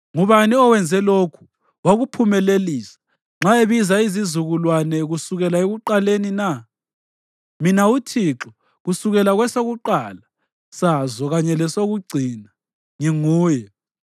Ngubani owenze lokhu wakuphumelelisa, ebiza izizukulwane kusukela ekuqaleni na? Mina uThixo, kusukela kwesokuqala sazo kanye lesokucina, nginguye.”